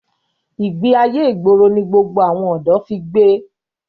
Ìgbé ayé ìgboro ni gbogbo àwọn ọ̀dọ́ fi gbé.